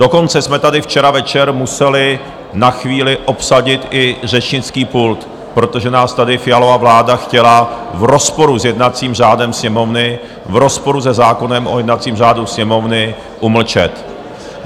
Dokonce jsme tady včera večer museli na chvíli obsadit i řečnický pult, protože nás tady Fialova vláda chtěla v rozporu s jednacím řádem Sněmovny, v rozporu se zákonem o jednacím řádu Sněmovny umlčet.